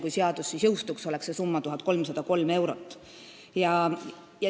Kui seadus praegu jõustuks, oleks see summa 1303 eurot.